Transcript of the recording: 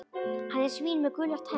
Hann er svín með gular tennur.